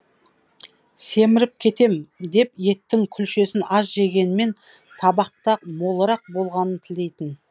семіріп кетем деп еттің күлшесін аз жегенмен табақта молырақ болғанын тілейтін